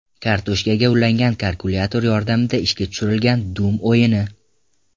Kartoshkaga ulangan kalkulyator yordamida ishga tushirilgan Doom o‘yini.